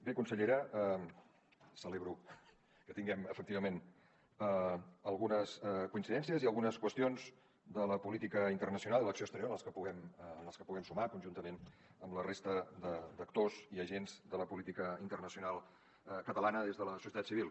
bé consellera celebro que tinguem efectivament algunes coincidències i algunes qüestions de la política internacional i l’acció exterior en les que puguem sumar conjuntament amb la resta d’actors i agents de la política internacional catalana des de la societat civil